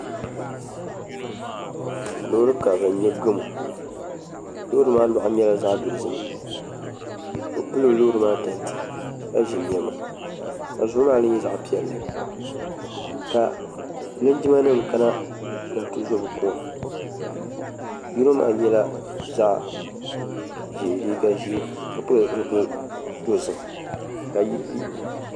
Loori karili n nyɛ sarati gamo maa luɣa nyɛla zaɣ dozim ka bi pili loori maa tanti ka ʒi niɛma ka zuɣu kaa mii nyɛ zaɣ piɛlli ka linjima nim kana ni bi zo bi kuŋa yino maa yɛla liiga ʒiɛ ka pili zipili dozim ka yi